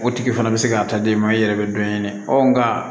O tigi fana bɛ se k'a ta d'e ma i yɛrɛ bɛ dɔ ɲini nka